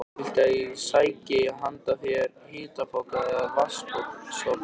Viltu að ég sæki handa þér hitapoka eða vatns- sopa?